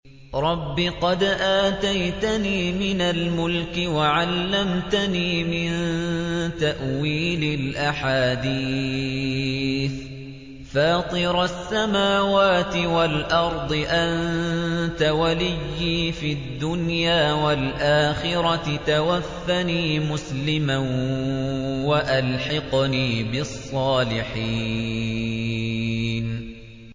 ۞ رَبِّ قَدْ آتَيْتَنِي مِنَ الْمُلْكِ وَعَلَّمْتَنِي مِن تَأْوِيلِ الْأَحَادِيثِ ۚ فَاطِرَ السَّمَاوَاتِ وَالْأَرْضِ أَنتَ وَلِيِّي فِي الدُّنْيَا وَالْآخِرَةِ ۖ تَوَفَّنِي مُسْلِمًا وَأَلْحِقْنِي بِالصَّالِحِينَ